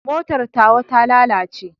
Motar tawa ta lalace.